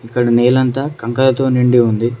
ఇక్కడ నెల అంత కంకర తో నిండి ఉంది.